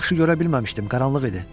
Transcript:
Yaxşı görə bilməmişdim, qaranlıq idi.